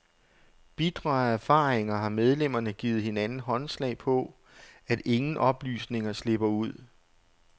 Bitre af erfaringer har medlemmerne givet hinanden håndslag på, at ingen oplysninger slipper ud.